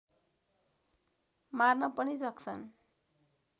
मार्न पनि सक्छन्